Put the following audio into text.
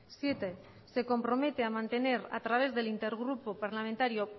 siete se compromete a mantener a través del intergrupo parlamentario